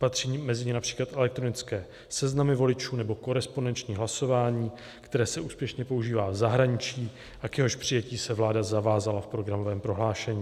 Patří mezi ně například elektronické seznamy voličů nebo korespondenční hlasování, které se úspěšně používá v zahraničí a k jehož přijetí se vláda zavázala v programovém prohlášení.